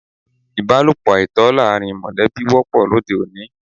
Ìbálòpọ̀ àìtọ́ láàrín mọ̀lẹ́bí wọ́pọ̀ lóde òní.